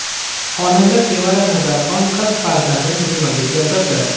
Xonanda Sevara Nazarxon qiz farzandni dunyoga keltirdi.